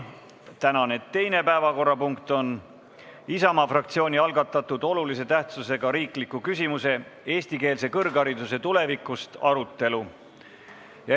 Tänane teine päevakorrapunkt on Isamaa fraktsiooni algatatud olulise tähtsusega riikliku küsimuse "Eestikeelse kõrghariduse tulevikust" arutelu.